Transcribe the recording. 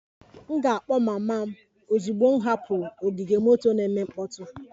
M ga-akpọ mama m ozugbo m hapụrụ ogige moto na-eme mkpọtụ